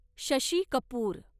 Shashi Kapoor